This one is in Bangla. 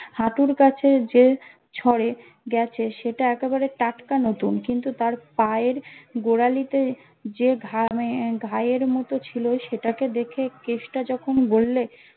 হাঁটুর কাছে যে ছড়ে গেছে সেটা একেবারে টাটকা নতুন কিন্তু তার পায়ের গোড়ালিতে যে ঘামে ঘায়ের মতো ছিলো সেটা কে দেখে কেষ্টা যখন বললে